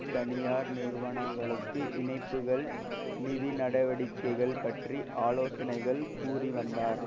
தனியார் நிறுவனங்களுக்கு இணைப்புக்கள் நிதி நடவடிக்கைகள் பற்றி ஆலோசனைகள் கூறிவந்தார்